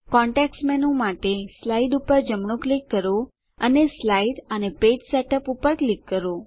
context menu માટે slide પર જમણું ક્લિક કરો અને સ્લાઇડ અને પેજ સેટઅપ પર ક્લિક કરો